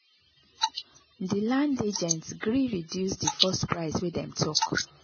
the land agent gree reduce the first price when them talk